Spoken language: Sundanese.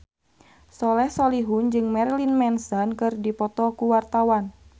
Soleh Solihun jeung Marilyn Manson keur dipoto ku wartawan